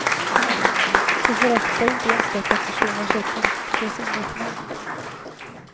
Så förakta inte enstaka personers och politikers engagemang.